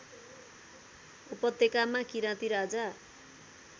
उपत्यकामा किराती राजा